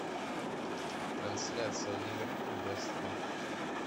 трансляция ливерпуль вест хэм